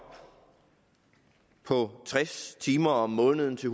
på tres timer om måneden til